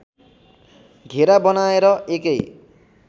घेरा बनाएर एकै